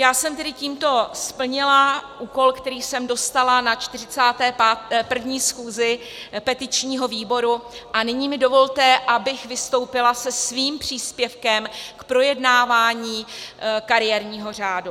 Já jsem tedy tímto splnila úkol, který jsem dostala na 41. schůzi petičního výboru, a nyní mi dovolte, abych vystoupila se svým příspěvkem k projednávání kariérního řádu.